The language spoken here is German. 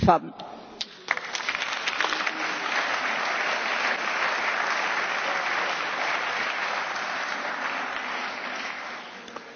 Frau Alliot Marie, Kompliment, Sie haben mit einer geschickten Formulierung für den Antrag gesprochen, obwohl Sie sich dagegen geäußert hatten,